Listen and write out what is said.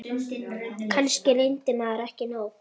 Kannski reyndi maður ekki nóg.